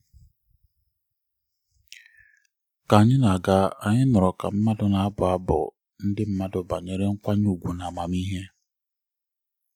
ka anyị na-aga anyị nụrụ ka mmadụ na-abụ abụ ndị mmadụ banyere nkwanye ùgwù na amamihe